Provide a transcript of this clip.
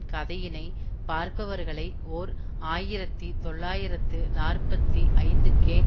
கதையினை பார்ப்பவர்களை ஓர் ஆயிரத்தி தொள்ளாயிரத்து நாற்பத்தி ஐந்துக்கே